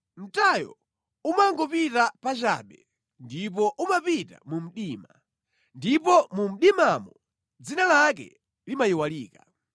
Mtayo umangopita pachabe ndipo umapita mu mdima, ndipo mu mdimamo dzina lake limayiwalika.